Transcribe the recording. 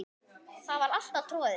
Það var alltaf troðið.